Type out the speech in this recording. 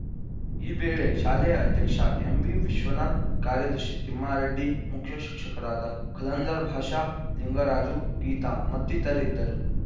ಈ ವೇಳೆ ಶಾಲೆಯ ಅಧ್ಯಕ್ಷ ಎಂವಿವಿಶ್ವನಾಥ್‌ ಕಾರ್ಯದರ್ಶಿ ತಿಮ್ಮಾರೆಡ್ಡಿ ಮುಖ್ಯಶಿಕ್ಷಕರಾದ ಖಲಂದರ್‌ ಬಾಷ ಲಿಂಗರಾಜು ಗೀತಾ ಮತ್ತಿತರರಿದ್ದರು